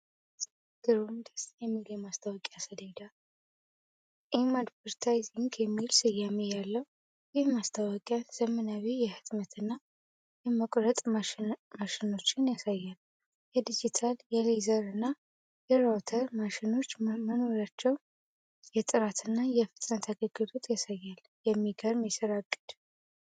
ግሩም! ደስ የሚል የማስታወቂያ ሰሌዳ! "M Advertising" የሚል ስያሜ ያለው ይህ ማስታወቂያ ዘመናዊ የህትመት እና የመቁረጥ ማሽኖችን ያሳያል። የዲጂታል፣ የሌዘር፣ እና የራውተር ማሽኖች መኖራቸው የጥራት እና የፍጥነት አገልግሎትን ያሳያል። የሚገርም የስራ አቅም!